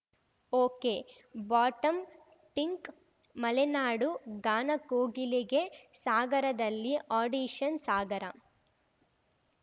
ಒಕೆಬಾಟಂ ಟಿಂಕ್ಮಲೆನಾಡು ಗಾನಕೋಗಿಲೆಗೆ ಸಾಗರದಲ್ಲಿ ಆಡಿಷನ್‌ ಸಾಗರ